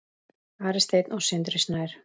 Ari Steinn og Sindri Snær.